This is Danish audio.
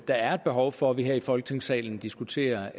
der er behov for at vi her i folketingssalen diskuterer